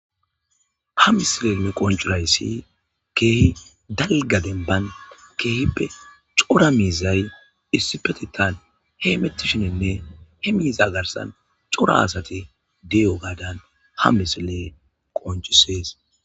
ha misile me qoncurayssi keehi dalga denban keehippe cora miizay issipetettan he emettishinenne he miiza garsan cora asati diyo gaadan ha misile qoncisees